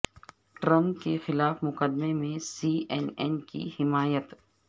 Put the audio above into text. Trump کے خلاف مقدمے میں سی این این کی حمایت